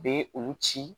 U bɛ olu ci